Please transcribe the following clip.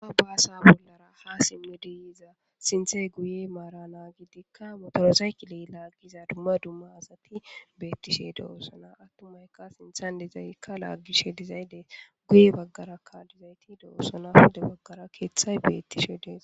haa baasa bollara ha simme deiza sinthey guye maara na gidikka motorosaykiley laaggiza dumma dumma asati beettishe de7oossona attumayka sinthan dizaykka laaggishe dizayde guye baggarakkalizayti de7oossona pude baggara keeththay bettishe deeza